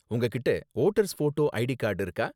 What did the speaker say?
உங்ககிட்ட voters photo ID card இருக்கா?